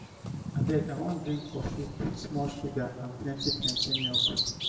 abeg i wan drink coffee put small sugar and plenty and plenty milk.